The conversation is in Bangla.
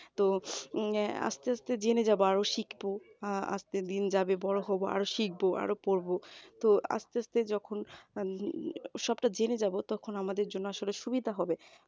তো অ্যাঁ আস্তে আস্তে জেনে যাব আরো শিখব আজকের দিন যাবে বড় হব আরো শিখব আরো পড়বো তো আস্তে আস্তে যখন সবটা জেনে যাব তখন আমাদের জন্য আসলে সুবিধা হবে